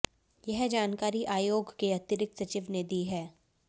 यह जानकारी आयोग के अतिरिक्त सचिव ने दी है